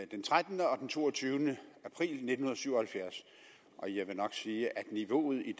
den trettende og den toogtyvende april nitten syv og halvfjerds og jeg vil nok sige at niveauet i